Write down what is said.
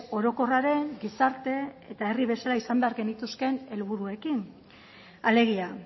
orokorraren gizarte eta herri bezala eduki behar genituzkeen helburuekin alegia